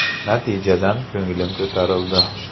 Natijadan ko‘nglim ko‘tarildi.